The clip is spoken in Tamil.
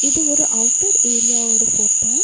இது ஒரு அவுட்டர் ஏரியாவோட ஃபோட்டோ .